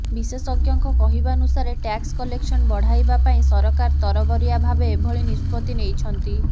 ବିଶେଷଜ୍ଞଙ୍କ କହିବାନୁସାରେ tax collection ବଢ଼ାଇବା ପାଇଁ ସରକାର ତରବରିଆ ଭାବେ ଏଭଳି ନିଷ୍ପତ୍ତି ନେଇଛନ୍ତି